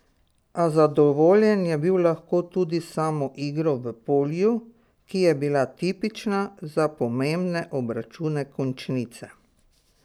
A zadovoljen je bil lahko tudi s samo igro v polju, ki je bila tipična za pomembne obračune končnice.